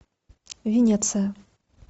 венеция